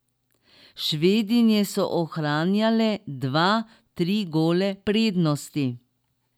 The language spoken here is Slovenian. Švedinje so ohranjale dva, tri gole prednosti.